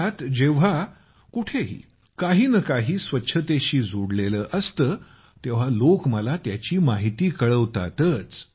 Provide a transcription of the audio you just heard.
देशात कुठेही काही नं काही स्वच्छतेशी जोडलेलं असतं तेव्हा लोक मला त्याची माहिती कळवतातच